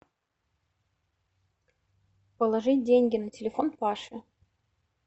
положить деньги на телефон паши